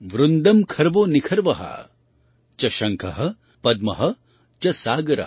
वृन्दं खर्वो निखर्व च शंख पद्म च सागर